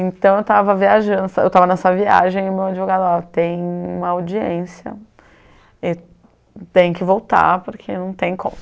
Então eu estava viajando, eu estava nessa viagem e o meu advogado falou, ó tem uma audiência e tem que voltar porque não tem como.